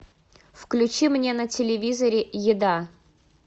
включи мне на телевизоре еда